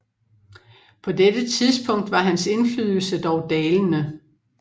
På dette tidspunkt var hans indflydelse dog dalende